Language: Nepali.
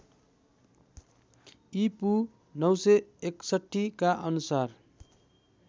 ईपू ९६१ का अनुसार